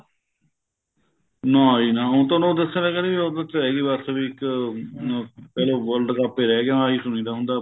ਨਾ ਜੀ ਨਾ ਹੁਣ ਤੁਹਾਨੂੰ ਦੱਸਿਆ ਤਾਂ ਹੈਗਾ ਜੀ ਉਹਦੇ ਚ ਰਹਿ ਗੀ ਬੱਸ ਵੀ ਇੱਕ ਅਹ ਕੱਲਾ world cup ਈ ਰਹਿ ਗਿਆ ਹੁਣ ਆਹੀ ਸੁਣੀਦਾ ਹੁੰਦਾ